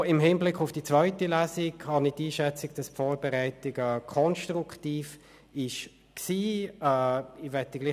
Auch im Hinblick auf die zweite Lesung scheint mir die Vorbereitung konstruktiv gewesen zu sein.